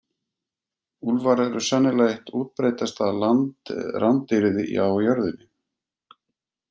Úlfar eru sennilega eitt útbreiddasta landrándýrið á jörðinni.